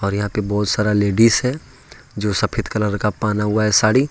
यहां पर बहुत सारा लेडीज है जो सफेद कलर का पहना हुआ है साड़ी।